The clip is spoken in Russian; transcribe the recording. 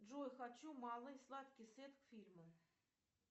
джой хочу малый сладкий сет к фильму